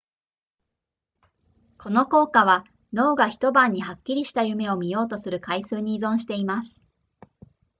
この効果は脳が一晩にはっきりした夢を見ようとする回数に依存しています